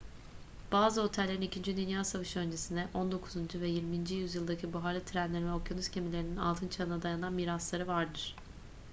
bazı otellerin i̇kinci dünya savaşı öncesine 19. veya 20. yüzyıldaki buharlı trenlerin ve okyanus gemilerinin altın çağına dayanan mirasları vardır